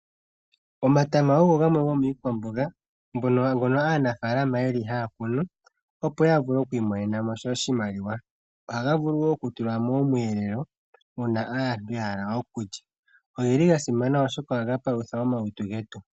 Omatama ogo gamwe gomiikwamboga mbyono aanafaalama haya kunu opo ya vule okwiimonena mo oshimaliwa. Ohaga vulu woo okutulwa momweelelo uuna aantu yahala okulya. Ogasimana oshoka ohaga palutha omalutu.